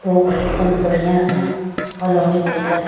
लोग एक दम बढ़िया है कॉलोनी भर के --